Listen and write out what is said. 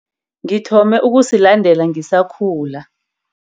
Ngithombe ukusilandela ngisakhula.